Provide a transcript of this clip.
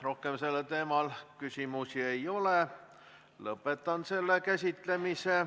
Rohkem sellel teemal küsimusi ei ole, lõpetan selle käsitlemise.